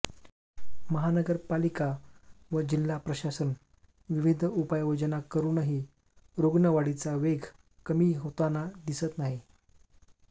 महानगर पालिका व जिल्हा प्रशासन विविध उपाययोजना करूनही रूग्णवाढीचा वेग कमी होतांनी दिसत नाही